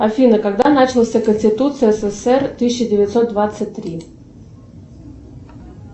афина когда начался конституция ссср тысяча девятьсот двадцать три